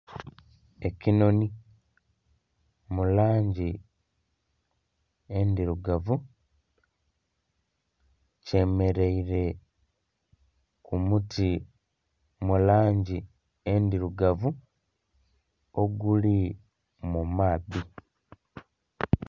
Ekinhonhi mu langi endhirugavu kyemereire ku muti mu langi endhirugavu oguli mu maadhi.